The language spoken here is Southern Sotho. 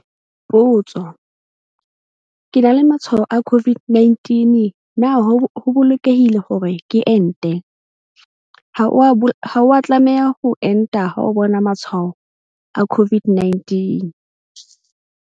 Potso- Ke na le matshwao a COVID-19 na ho bolokehile hore ke ente? Ha o a tlameha ho enta ha o bona matshwao a COVID-19.